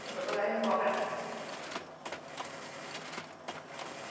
Mandou mandar embora para lá.